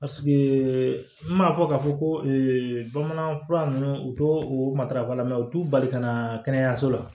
n m'a fɔ ka fɔ ko bamanankan fura ninnu u t'o matarafa u t'u bali ka na kɛnɛyaso la